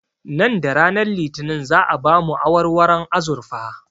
Nan da ranar litinin za'a ba mu awarwaron azurfa